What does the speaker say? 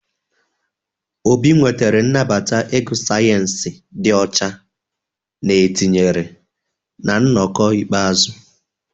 Obi nwetara nnabata ịgụ sayensị dị ọcha na etinyere na nnọkọ ikpeazụ.